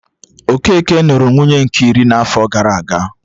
Okeke nụrụ nwunye nke iri n'afo gara aga